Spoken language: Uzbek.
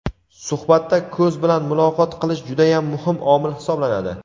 Suhbatda "ko‘z bilan muloqot qilish" judayam muhim omil hisoblanadi.